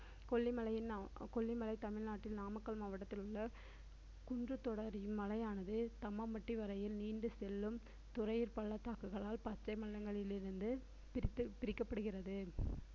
கொல்லிமலையின் கொல்லிமலை தமிழ்நாட்டில் நாமக்கல் மாவட்டத்தில் உள்ள குன்று தொடர் இம்மலையானது தம்மம்பட்டி வரையில் நீண்டு செல்லும் துறையூர் பள்ளத்தாக்குகளால் பச்சை மலைகளில் இருந்து பிரித்து~ பிரிக்கப்படுகிறது